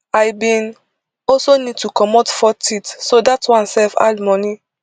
i bin also need to comot four teeth so dat one sef add money